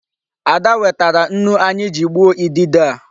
Ada wetara nnu anyị ji gbuo idide a.